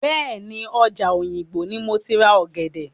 Bẹ́ẹ̀ni, ọjà òyìngbò ni moti ra ọ̀gẹ̀dẹ̀.